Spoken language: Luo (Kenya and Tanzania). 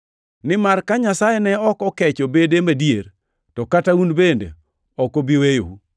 Nimar ka Nyasaye ne ok okecho bede madier, to kata un bende ok obi weyou.